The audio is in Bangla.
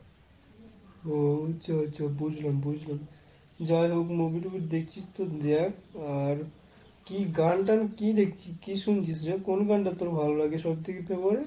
ও আচ্ছা আচ্ছা বুঝলাম বুঝলাম। যাইহোক movie টুভি দেখছিস তো দেখ। আর, কি গানটান কি দেখছিস কি দিয়ে শুনছিস রে? কোন গানটা তোর ভালো লাগে সবথেকে favourite?